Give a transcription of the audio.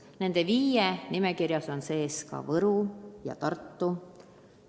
Nende viie hulgas on ka Võru ja Tartu.